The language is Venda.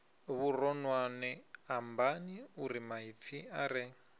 vhuronwane ambani urimaipfi a re